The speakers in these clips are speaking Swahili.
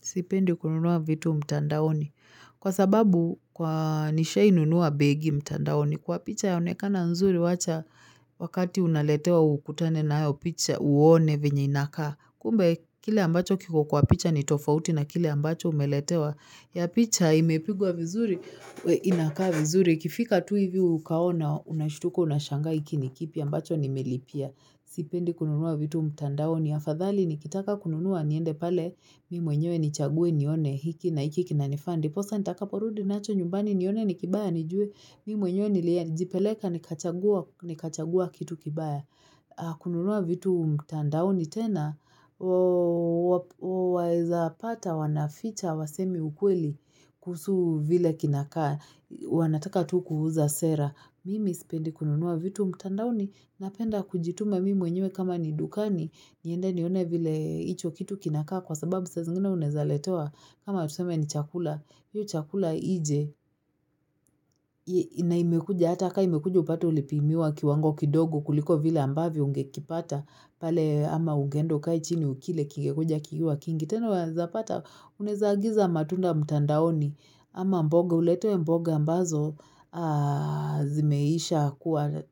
Sipendi kununuwa vitu mtandaoni. Kwa sababu kwa, nishawahi nunuwa begi mtandaoni, kwa picha yaonekana nzuri wacha wakati unaletewa ukutane nayo picha uone venye inakaa, kumba kile ambacho kiko kwa picha ni tofauti na kile ambacho umeletewa. Ya picha imepigwa vizuri inakaa vizuri ikifika tu hivi ukaona unashutuka unashangaa hiki ni kipi ambacho nimelipia Sipendi kununuwa vitu mtandaoni. Afadhali nikitaka kununuwa niende pale, mimi mwenyewe nichagwe nione hiki na hiki kinanifaa. Ndiposa nitakaporudi nacho nyumbani nione ni kibaya nijue, mimi mwenye nilijipeleka nikachagua, nikachagua kitu kibaya. Kununuwa vitu mtandaoni tena, waeza pata wanaficha hawasemi ukweli kuhusu vile kinakaa, wanataka tu kuuza sera. Mimi isipendi kununuwa vitu mtandaoni. Napenda kujituma mimi mwenye kama ni dukani niende nione vile hicho kitu kinakaa kwa sababu saa zingine unaezaletewa kama tuseme ni chakula hiyo chakula ije na imekuja hata ka imekuja upata ulipimiwa kiwango kidogo kuliko vile ambavyo ungekipata pale ama ugeenda ukae chini ukile kingekuja kikiwa kingi. Tena unaeza pata unaeza agiza matunda mtandaoni ama mboga uletewe mboga ambazo zimeisha kuwa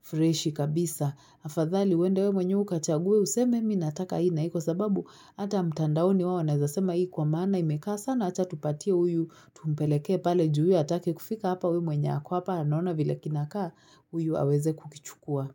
freshi kabisa. Afadhali uende wewe mwenyewe ukachague useme mi nataka hii na hii kwa sababu hata mtandaoni wao wanaeza sema hii kwa maana imekaa sana acha tupatia huyu tumpelekee pale ju huyu atake kufika hapa huyu mwenye ako hapa anaona vile kinakaa huyu aweze kukichukua.